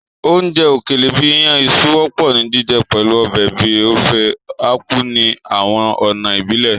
Oúnjẹ òkèlè bìí iyàn iṣu wọ́pọ̀ ni jíjẹ pẹ̀lu ọbẹ̀ bíi Ofe Akwu ní àwọn ọ̀nà ìbílẹ̀.